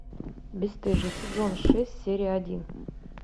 бесстыжие сезон шесть серия один